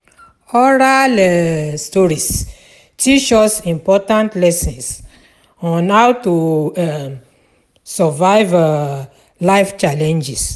Oral um stories teach us important lessons on how to um survive um life challenges.